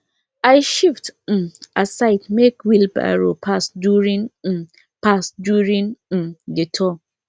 i shift um aside make wheelbarrow pass during um pass during um the tour